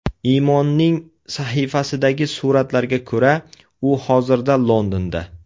Imonning sahifasidagi suratlarga ko‘ra, u hozirda Londonda.